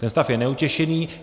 Ten stav je neutěšený.